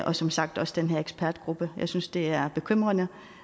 og som sagt også den her ekspertgruppe jeg synes at det er bekymrende